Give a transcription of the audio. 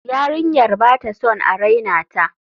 Yarinyar ba ta son a raina ta.